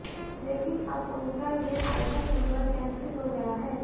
लेकिन अब उनका ये आईटम नंबर कैंसिल हो गया है